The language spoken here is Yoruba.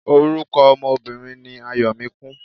Orúkọ ọmọ Obìnrin ni Ayọ̀míkún.